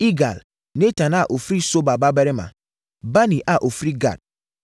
Igal, Natan a ɔfiri Soba babarima; Bani a ɔfiri Gad;